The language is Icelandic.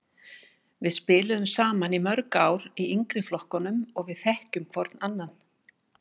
Við spiluðum saman í mörg ár í yngri flokkunum og við þekkjum hvorn annan.